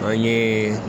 An ye